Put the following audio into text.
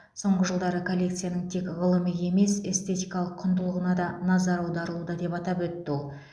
соңғы жылдары коллекцияның тек ғылыми емес эстетикалық құндылығына да назар аударылуда деп атап өтті ол